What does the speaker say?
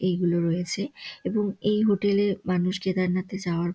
এইগুলো রয়েছে এবং এই হোটেল -এর মানুষ কেদারনাথ এ যাওয়ার--